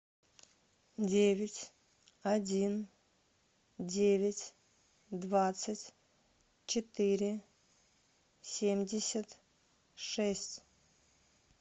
девять один девять двадцать четыре семьдесят шесть